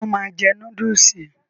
Ṣe o máa jẹ núdúùsì?